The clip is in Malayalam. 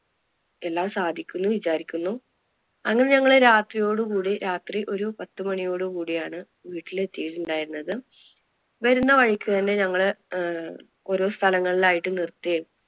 എല്ലാം സാധിക്കും എന്ന് വിചാരിക്കുന്നു. അങ്ങനെ ഞങ്ങള് രാത്രിയോടുകൂടി രാത്രി ഒരു പത്തുമണിയോട് കുടി ആണ് വീട്ടിൽ എത്തിട്ടുണ്ടായിരുന്നത്. വരുന്ന വഴിക്ക് തന്നെ ഞങ്ങള് ആഹ് ഓരോ സ്ഥലങ്ങളിൽ ആയിട്ട് നിർത്തി